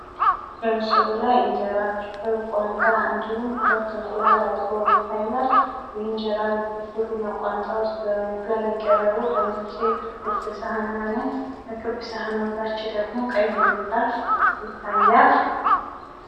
በምስሉ ላይ እንጀራ ፍርፍር ፣ ቋንጣ እንዲሁም ሁለት እንቁላል አብሮ ይታያል። እንጀራ ፍርፍሩና ቋንጣውውስጥ በእንቁላል የቀረቡ በነጭ ክብ ሳህና ነው። ከክብ ሳህናው በታች ደሞ ቀይ ምንጣፍ ይታያል።